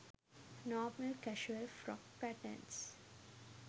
normal casual frock patterns